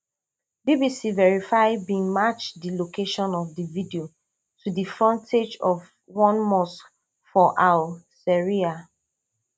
bbc verify bin match di location of di video to di frontage of one mosque for al seriha